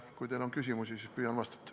Kui teil on küsimusi, siis püüan vastata.